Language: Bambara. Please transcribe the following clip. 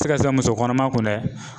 Se ka kɛ musokɔnɔma kun dɛ